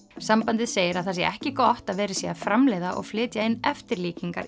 sambandið segir að það sé ekki gott að verið sé að framleiða og flytja inn eftirlíkingar